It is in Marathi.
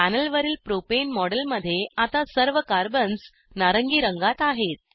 पॅनलवरील प्रोपेन मॉडेलमध्ये आता सर्व कार्बन्स नारंगी रंगात आहेत